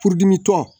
Furudimitɔ